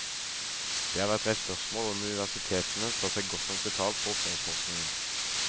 Det har vært reist spørsmål om universitetene tar seg godt nok betalt for oppdragsforskningen.